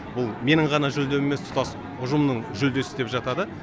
бұл менің ғана жүлдем емес тұтас ұжымның жүлдесі деп жатады